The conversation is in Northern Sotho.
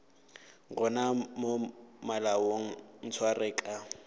gona mo malaong ntshware ka